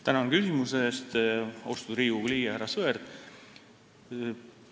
Tänan küsimuse eest, austatud Riigikogu liige härra Sõerd!